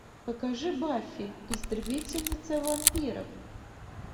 покажи баффи истребительница вампиров